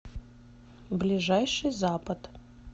ближайший запад